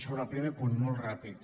sobre el primer punt molt ràpid